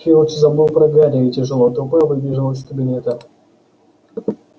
филч забыл про гарри и тяжело топая выбежал из кабинета